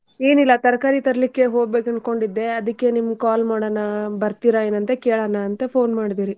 ಏನಿಲ್ಲಾ ತರಕಾರಿ ತರ್ಲಿಕ್ಕೆ ಹೋಗ್ಬೇಕ್ ಅನ್ಕೊಂಡಿದ್ದೆ ಅದಕ್ಕೆ ನಿಮಗ್ call ಮಾಡೋಣಾ ಬರ್ತೀರಾ ಏನ್ ಅಂತಾ ಕೇಳಣಂತಾ phone ಮಾಡ್ದೆರೀ.